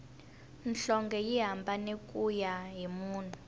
nhlonge yi hambana kuya hi munhu